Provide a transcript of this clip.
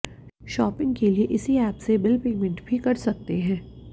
shopping के लिए इसी ऐप से बिल पेमेंट भी कर सकते हैं